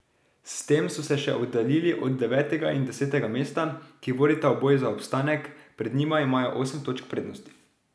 S tem so se še oddaljili od devetega in desetega mesta, ki vodita v boj za obstanek, pred njima imajo osem točk prednosti.